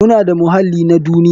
Muna da muhallin na duniya.